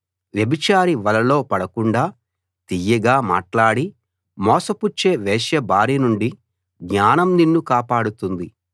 వ్యభిచారి వలలో పడకుండా తియ్యగా మాట్లాడి మోసపుచ్చే వేశ్య బారి నుండి జ్ఞానం నిన్ను కాపాడుతుంది